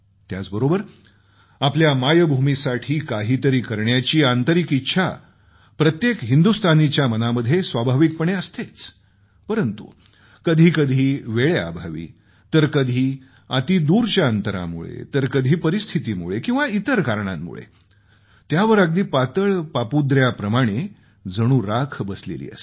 त्याचबरोबर आपल्या मायभूमीसाठी काहीतरी करण्याची आंतरिक इच्छा प्रत्येक हिंदुस्तानींच्या मनामध्ये स्वाभाविकपणे असतेच परंतु कधी कधी वेळेअभावी तर कधी अतिदूरच्या अंतरामुळे तर कधी परिस्थितीमुळे किंवा इतर कारणांमुळे त्यावर अगदी पातळ पापुद्र्याप्रमाणे जणू राख बसलेली असते